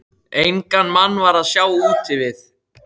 Engan mann var að sjá úti við.